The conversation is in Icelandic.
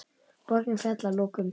Borgin féll að lokum.